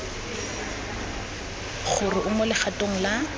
gore o mo legatong la